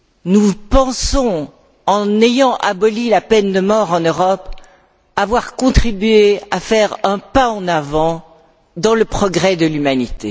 Nous pensons, en ayant aboli la peine de mort en Europe, avoir contribué à faire un pas en avant dans le progrès de l'humanité.